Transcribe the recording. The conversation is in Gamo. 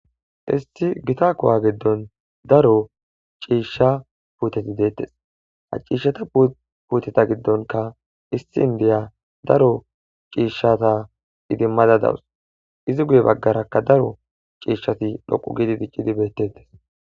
isti gita kowa giddon daro ciishsha puuteti deettes ha ciishshata puuteta giddonka isti indiya daro ciishshata idimmada dawus izi guye baggarakka daro ciishshati dhoqu gidi diccidi beettettes